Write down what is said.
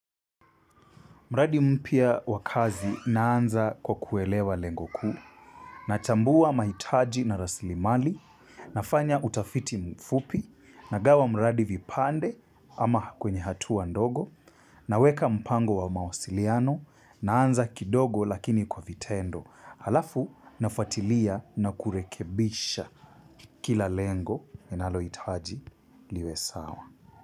Mradi mpya wakazi naanza kwa kuelewa lengo kuu na chambuwa mahitaji na raslimali na fanya utafiti mfupi na gawa mradi vipande ama kwenye hatua ndogo na weka mpango wa mawasiliano naanza kidogo lakini kwa vitendo. Halafu nafatilia na kurekebisha kila lengo enalo itaji liwe sawa.